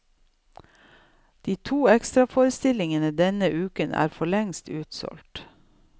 De to ekstraforestillingene denne uken er forlengst utsolgt.